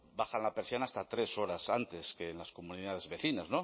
bajan la persiana hasta tres horas antes que en las comunidades vecinas